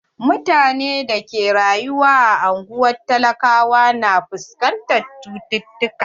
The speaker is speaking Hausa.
Mutane da ke rayuwa a anguwan talakawa na fuskantar cututukka.